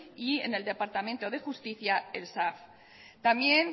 y en departamento de justicia el sav también